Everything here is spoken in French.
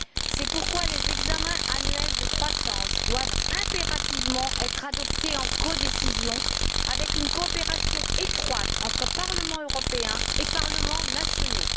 C'est pourquoi les examens annuels de croissance doivent impérativement être adoptés en codécision, avec une coopération étroite entre Parlement européen et parlements nationaux.